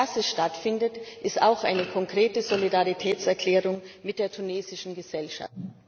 Dass es stattfindet, ist auch eine konkrete Solidaritätserklärung mit der tunesischen Gesellschaft.